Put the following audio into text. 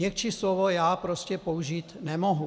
Měkčí slovo já prostě použít nemohu.